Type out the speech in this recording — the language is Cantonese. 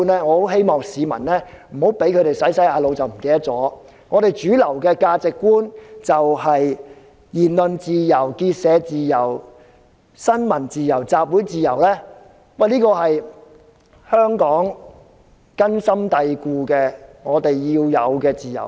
我希望市民不要在被洗腦後忘記了另一套主流價值觀，就是言論自由、結社自由、新聞自由和集會自由，這些都是根深蒂固的價值觀，也是我們必須擁有的自由。